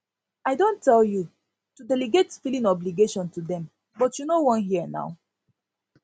i don don tell you to delegate filing obligation to dem but you no wan hear um